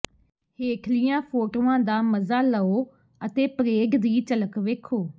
ਹੇਠਲੀਆਂ ਫੋਟੋਆਂ ਦਾ ਮਜ਼ਾ ਲਓ ਅਤੇ ਪਰੇਡ ਦੀ ਝਲਕ ਵੇਖੋ